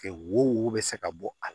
Wo wo be se ka bɔ a la